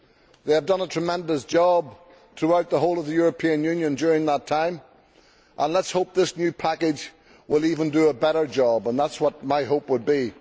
They have done a tremendous job throughout the whole of the European Union during that time, and let us hope that this new package will do an even better job. That is what my hope would be.